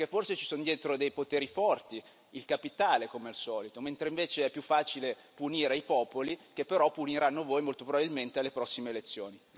Perché forse ci sono dietro dei poteri forti, il capitale come al solito, mentre invece è più facile punire i popoli che però puniranno voi molto probabilmente alle prossime elezioni.